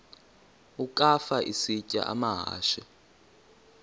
ukafa isitya amahashe